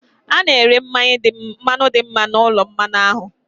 Hà na-ere mmanya dị mma na ulo mmanya ahụ?